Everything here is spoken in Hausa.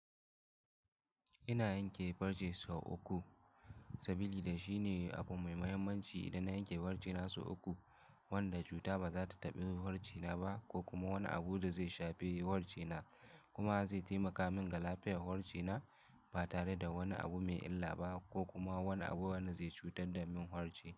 Ina yanke farce so uku saboda shine abu mai muhimmanci idan na yanke farce na so uku wanda cuta ba za ta taɓi farce na ba ko kuma wani abu da zai shafi farce na kuma zai taimaka min ga lafiyar farce na ba tare da wani abu mai illa ba ko kuma wani abu wanda zai cutar da min warce.